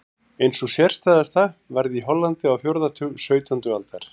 Ein sú sérstæðasta varð í Hollandi á fjórða áratug sautjándu aldar.